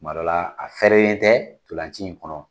Tuma dɔ la, a fɛrɛlen tɛ ntolaci in kɔnɔ.